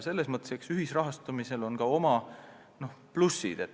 Selles mõttes on ühisrahastamisel ka oma plussid.